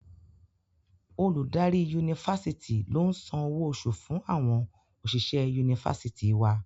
Olùdarí Yunifásitì ló ń san owó oṣù fún àwọn òṣìṣẹ̀ Yunifásitì wa.